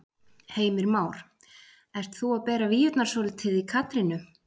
Heimir Már: Ert þú að bera víurnar svolítið í Katrínu?